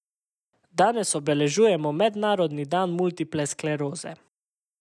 Danes obeležujemo mednarodni dan multiple skleroze.